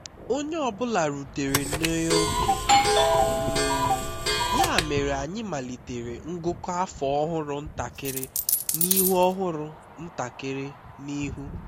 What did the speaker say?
onye ọ bụla rutere n'ioge um ya mere anyị malitere ngụkọ afọ ọhụrụ ntakịrị n'ihu ọhụrụ ntakịrị n'ihu